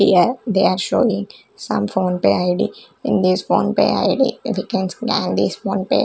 here they are showing some phone pay id in this phone pay id we can see ids phone pay--